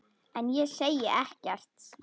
En ég segi ekkert.